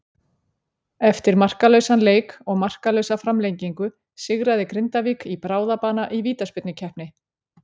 Eftir markalausan leik og markalausa framlengingu sigraði Grindavík í bráðabana í vítaspyrnukeppni.